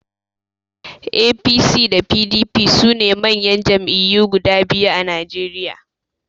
APC da PDP sune manyan Jam'iyyu guda biyu a Najeriya